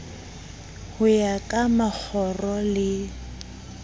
ho ya ka makgoro le